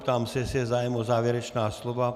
Ptám se, jestli je zájem o závěrečná slova.